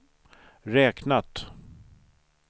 räknat